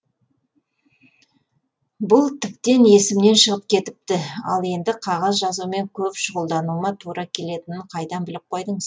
бұл тіптен есімнен шығып кетіпті ал енді қағаз жазумен көп шұғылдануыма тура келетінін қайдан біліп қойдыңыз